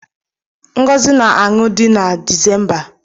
Ngozi na-anụ di na Disemba